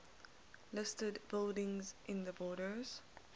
listed buildings in the borders